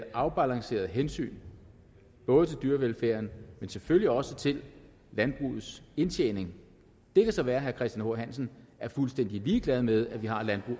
et afbalanceret hensyn både til dyrevelfærden og selvfølgelig også til landbrugets indtjening det kan så være at herre christian h hansen er fuldstændig ligeglad med